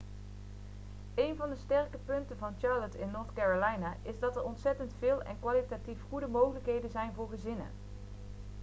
eén van de sterke punten van charlotte in north carolina is dat er ontzettend veel en kwalitatief goede mogelijkheden zijn voor gezinnen